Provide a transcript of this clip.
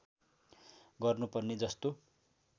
गर्नु पर्ने जस्तो